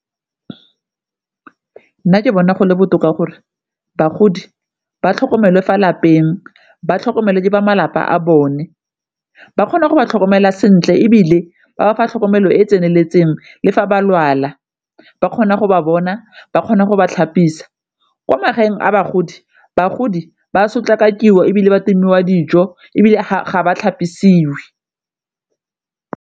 Nna ke bona gole botoka gore bagodi ba tlhokomelwe fa lapeng, ba tlhokomelwe ke ba malapa a bone ba kgona go di tlhokomela sentle ebile ba ba fa tlhokomelo e e tseneletseng le fa ba lwala ba kgona go ba bona, ba kgona go ba tlhapisiwa. Kwa magaeng a bagodi bagodi ba sotlakakiwa, ebile ba timiwa dijo ebile ga ba tlhapisiwe.